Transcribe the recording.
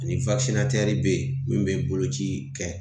Ani be yen min be boloci kɛ .